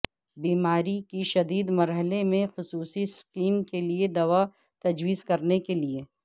بیماری کی شدید مرحلے میں خصوصی سکیم کے لئے دوا تجویز کرنے کے لئے